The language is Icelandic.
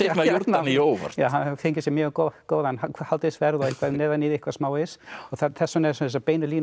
Jórdaníu óvart að hann hafi fengið sér mjög góðan hádegisverð og eitthvað neðan í því smávegis og þess vegna eru þessar beinu línur